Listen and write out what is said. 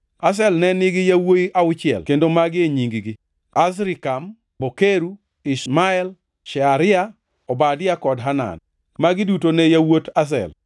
Azel ne nigi yawuowi auchiel kendo magi e nying-gi: Azrikam, Bokeru, Ishmael, Shearia, Obadia kod Hanan. Magi duto ne yawuot Azel.